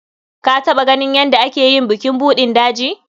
Ka taɓa ganin yadda ake yi bukin buɗin daji?